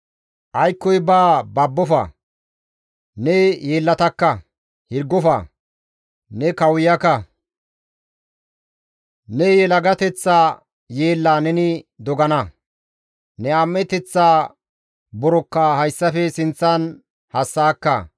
«Aykkoy baa babbofa; ne yeellatakka; hirgofa; ne kawuyaka; ne yelagateththa yeellaa neni dogana; ne am7eteththaa borokka hayssafe sinththan hassa7akka.